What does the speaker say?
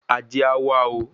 Ajé á wa o